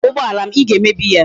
Hapu ugboala m! I ga emebi ya